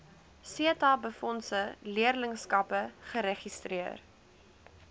setabefondse leerlingskappe geregistreer